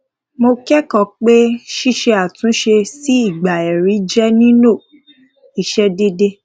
mo kẹkọọ pé ṣíse àtúnṣe sí ìgbà ẹrí jẹ nílò ìṣedédé